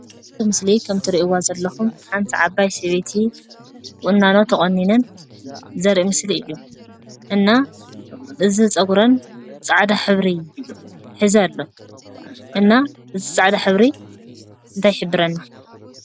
ኣብቲ ምስሊ ከምትሪእዋ ዘለኹም ሓንቲ ዓባይ ሰበይቲ ቁናኖ ተቖኒነን ዘርኢ ምስሊ እዩ፡፡ እና እዚ ፀጉረን ፃዕዳ ሕብሪ ሒዙ ኣሎ፡፡ እና እዚ ፃዕዳ ሕብሪ እንታይ ይሕብረልና?